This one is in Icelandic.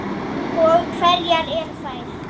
Og hverjar eru þær?